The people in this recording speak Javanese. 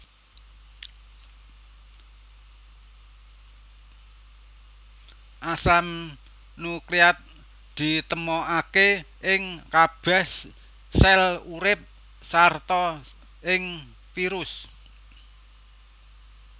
Asam nukleat ditemokaké ing kabèh sel urip sarta ing virus